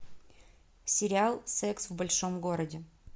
сериал секс в большом городе